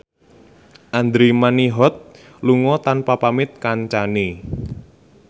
Andra Manihot lunga tanpa pamit kancane